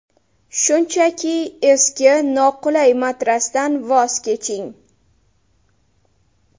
Shunchaki eski noqulay matrasdan voz keching!